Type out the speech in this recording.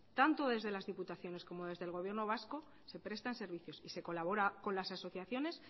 tanto desde las diputaciones como desde el gobierno vasco se prestan servicios y se colabora con las asociaciones